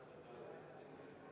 Vaheaeg 10 minutit.